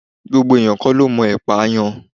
Gbogbo ènìyàn kọ́ ló mọ ẹpà yàn.